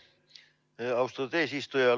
Aitäh, austatud eesistuja!